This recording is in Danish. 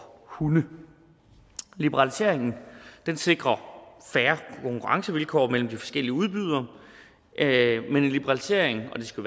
hunde liberaliseringen sikrer fair konkurrencevilkår mellem de forskellige udbydere men en liberalisering og det skal